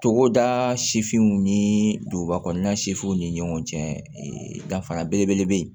Togoda sifinw ni duguba kɔnɔna ni ɲɔgɔn cɛ danfara belebele be yen